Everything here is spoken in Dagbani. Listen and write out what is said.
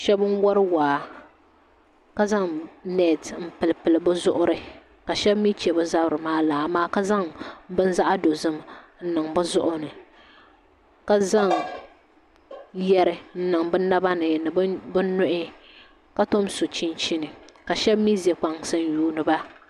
Shab n wori waa ka zaŋ neet n pilipili bi zuɣuri ka shab mii chɛ bi zabiri maa laa amaa ka zaŋ bini zaɣ dozim n niŋ bi zuɣu ni ka zaŋ yɛri n niŋ bi naba ni ni bi nuhi ka tom so chinchini ka shab mii ʒɛ kpansi n yuundiba